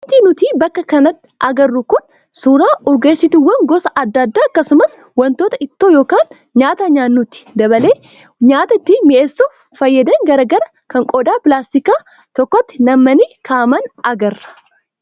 Wanti nuti bakka kanatti agarru kun suuraa urgeessituuwwan gosa adda addaa akkasumas wantoota ittoo yookaan nyaata nyaannutti daballee nyaata ittiin mi'eessuuf fayyadan garaagaraa kan qodaa pilaastikaa tokkotti nam'anii kaa'aman agarra.